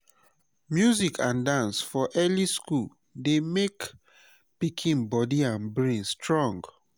music and dance for early school dey make pikin body and brain strong.